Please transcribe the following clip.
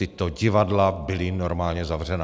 Tato divadla byla normálně zavřená.